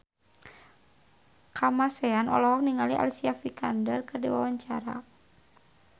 Kamasean olohok ningali Alicia Vikander keur diwawancara